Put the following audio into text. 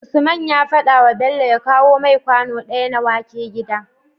Usman ya fadawa Bello ya kawo mai kwano daya na wake gida